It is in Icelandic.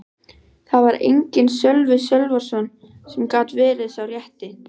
Þar var enginn Sölvi Sölvason sem gat verið sá rétti.